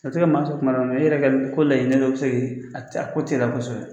A bɛ se ka maa sɔn kuma la mɛ e yɛrɛ ka ko laɲini dɔ bɛ se k'i a t'a a ko teliya kosɛbɛ.